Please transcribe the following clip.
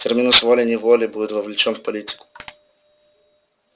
терминус волей-неволей будет вовлечён в политику